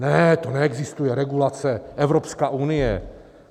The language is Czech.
Ne, to neexistuje, regulace, Evropská unie.